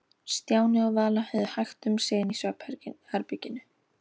Stjáni og Vala höfðu hægt um sig inni í svefnherberginu.